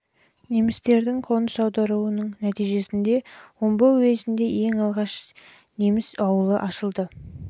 немістердің қоныс аударуының нәтижесінде жылы омбы уезінде ең алғашқы неміс ауылы ашылды